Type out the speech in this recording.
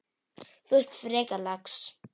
Þú ert frekar lax.